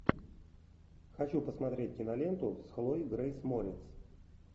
хочу посмотреть киноленту с хлоей грейс морец